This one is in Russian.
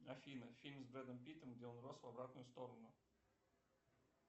афина фильм с брэдом питтом где он рос в обратную сторону